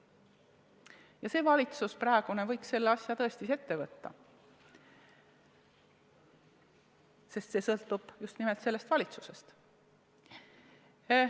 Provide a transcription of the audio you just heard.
Praegune valitsus võiks selle asja tõesti ette võtta – see sõltub just nimelt valitsusest.